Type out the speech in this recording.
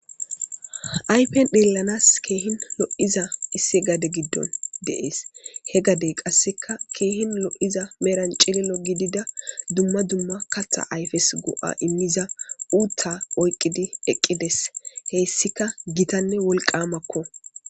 Aypen xeelanas keehin lo7iza isse gade giddon deees he gadey qasseka keehin lo7iza meran cilo gidida dumma dumma katha ayfes go7a immiza uutta oyqqidi eqqides heyssika gitanne wolqamakko.